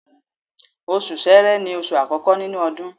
Oṣù Sẹrẹ ni oṣù àkọ́kọ́ nínú ọdún